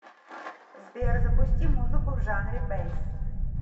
сбер запусти музыку в жанре бэйс